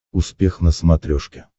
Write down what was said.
успех на смотрешке